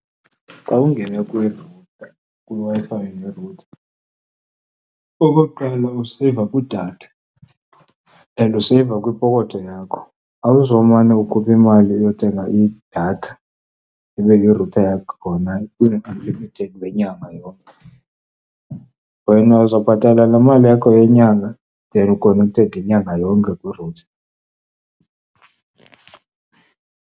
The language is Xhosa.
Xa ungene kwiWi-Fi ngerutha, okokuqala, useyiva kwidatha and useyiva kwipokotho yakho. Awuzumane ukhupha imali yothenga idatha ibe irutha yakho ikhona ino-unlimited wenyanga yonke. Wena uzobhatala laa mali yakho yenyanga, then u-connected inyanga yonke kwirutha.